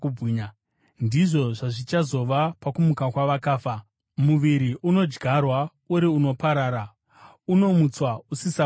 Ndizvo zvazvichazova pakumuka kwavakafa. Muviri unodyarwa uri unoparara, unomutswa usisaparari;